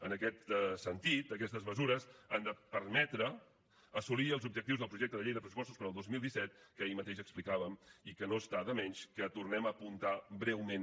en aquest sentit aquestes mesures han de permetre assolir els objectius del projecte de llei de pressupostos per al dos mil disset que ahir mateix explicàvem i que no està de més que tornem a apuntar breument